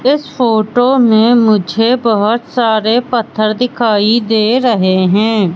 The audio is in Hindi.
इस फोटो मे मुझे बहोत सारे पत्थर दिखाई दे रहे है।